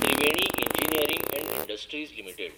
Triveni engineering and industries limited